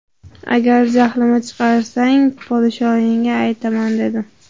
Agar jahlimi chiqarsang podshoyingga aytaman dedim.